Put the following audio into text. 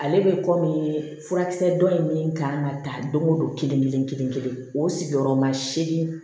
Ale bɛ kɔmi furakisɛ dɔ in kan ka ta don o don kelen kelen kelen kelen o sigiyɔrɔma seegin